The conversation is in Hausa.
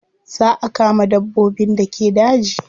Za a kama dabbobin da ke daji.